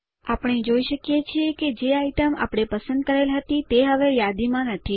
આપણે જોઇ શકીએ છીએ કે જે આઈટમ આપણે પસંદ કરેલ હતી તે હવે યાદીમાં નથી